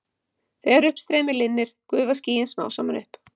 þegar uppstreymi linnir gufa skýin smám saman upp